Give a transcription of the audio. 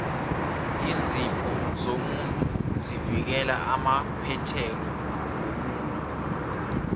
iinzipho zomuntu zivikela amaphethelo womuno